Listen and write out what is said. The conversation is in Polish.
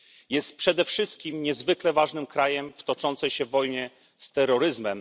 Jest przede wszystkim niezwykle ważnym krajem w toczącej się wojnie z terroryzmem.